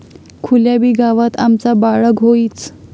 खुल्याबी गावात आमचा बाळग होइच...